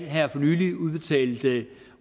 her for nylig udbetalte